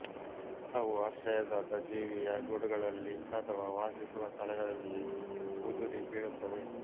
ಅವು ಆಶ್ರಯದಾತ ಜೀವಿಯ ಗೂಡುಗಳಲ್ಲಿ ಅಥವಾ ವಾಸಿಸುವ ಸ್ಥಳಗಳಲ್ಲಿ ಉದುರಿ ಬೀಳುತ್ತವೆ